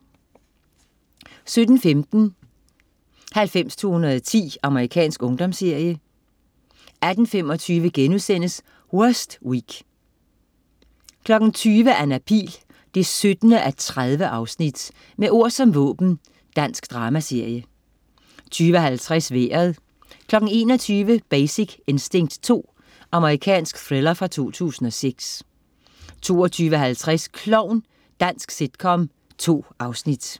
17.15 90210. Amerikansk ungdomsserie 18.25 Worst Week* 20.00 Anna Pihl 17:30. Med ord som våben. Dansk dramaserie 20.50 Vejret 21.00 Basic Instinct 2. Amerikansk thriller fra 2006 22.50 Klovn. Dansk sitcom. 2 afsnit